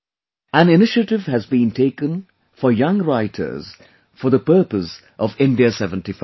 An initiative has been taken for Young Writers for the purpose of India SeventyFive